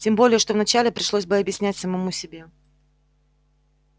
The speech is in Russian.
тем более что вначале пришлось бы объяснять самому себе